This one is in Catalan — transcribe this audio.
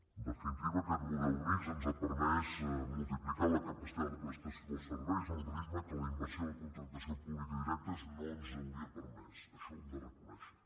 en definitiva aquest model mixt ens ha permès multiplicar la capacitat de prestació dels serveis a un ritme que la inversió i la contractació pública directes no ens hauria permès això ho hem de reconèixer